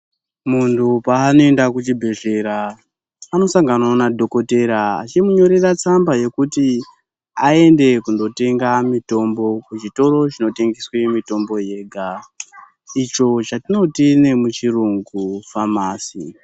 Munhu paanoenda kuchibhedhlera, anosanganawo madhokotera achimunyorera tsamba yekuti , aende kundotenga mitombo kuchitoro chinotengeswe mitombo yega, icho chatinoti nemuchirungu famasi.